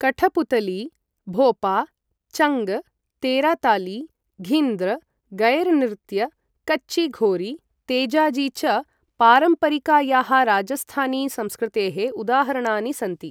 कठपुतली, भोपा, चङ्ग, तेराताली, घिन्द्र, गैरनृत्य, कच्ची घोरी, तेजाजी च पारम्परिकायाः राजस्थानी संस्कृतेः उदाहरणानि सन्ति।